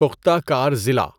پختہ کار ضلع